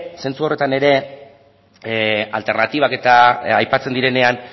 zentzu horretan ere alternatibak aipatzen direnean